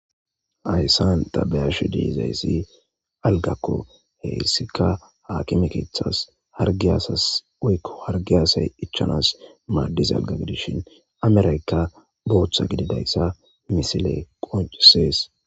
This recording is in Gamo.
Hayssan tabeyashi diizayssi algakko heyssika haakime keethas hargi asas oykko hargi asay ichanas maaddis alga gidishin ameraykka booththa gididayssa misile qoncisees.